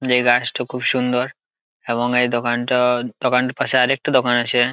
এই গাছটা খুব সুন্দর এবং এই দোকানটা দোকানটার পাশে আরেকটা দোকান আছে।